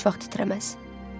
Bu əl heç vaxt titrəməz.